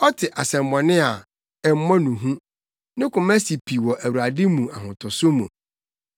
Ɔte asɛmmɔne a, ɛmmɔ no hu; ne koma si pi wɔ Awurade mu ahotoso mu.